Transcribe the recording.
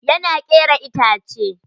Yana kera itace.